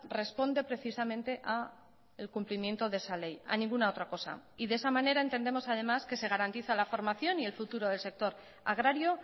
responde precisamente a el cumplimiento de esa ley a ninguna otra cosa y de esa manera entendemos además que se garantiza la formación y el futuro del sector agrario